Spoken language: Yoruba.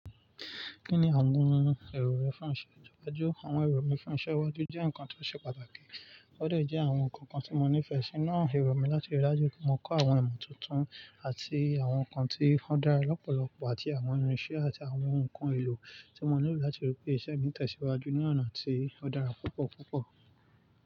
Kí ni àwọn èrò rẹ fún iṣẹ́ ìdájọ́? Àwọn èrò mi fún iṣẹ́ iwájú jẹ́ nǹkan tó ṣe pàtàkì. Ó dejẹ́ àwọn nǹkan kan tí mo nífẹ̀ẹ́ sí náà. Ẹ̀rọ̀ mi láti rí i dájú pé mo kọ́ àwọn ìmọ̀ tuntun àti àwọn nǹkan tí wọ́n dára lọ́pọ̀lọpọ̀ àti àwọn irinṣẹ́ àti àwọn nǹkan èlò tí mo nílò láti rí pé ìṣe mi tẹ̀síwájú ní ọ̀nà tí ó dára púpọ̀ púpọ̀.